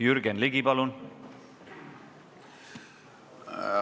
Jürgen Ligi, palun!